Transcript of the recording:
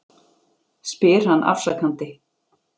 spyr hann afsakandi.